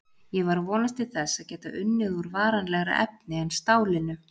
Ég var að vonast til þess að geta unnið úr varanlegra efni en stálinu.